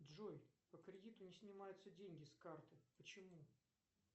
джой по кредиту не снимаются деньги с карты почему